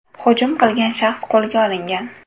Hujum qilgan shaxs qo‘lga olingan.